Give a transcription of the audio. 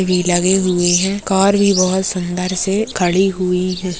भी लगे हुए है कार भी बहोत सुंदर से खड़ी हुई--